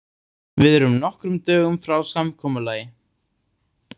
Við erum nokkrum dögum frá samkomulagi.